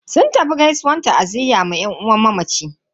Sun tafi gaisuwan ta'aziyya ma yan uwan mamacin.